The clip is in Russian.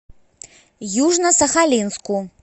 южно сахалинску